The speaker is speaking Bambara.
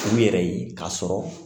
U yɛrɛ ye k'a sɔrɔ